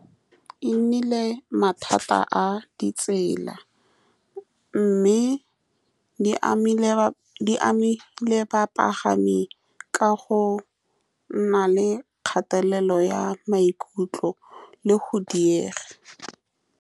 E nnile mathata a ditsela, mme di amile. Di amile bapagami ka go nna le kgatelelo ya maikutlo le go diega.